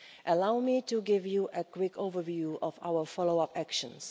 Allow me to give you a quick overview of our follow-up actions.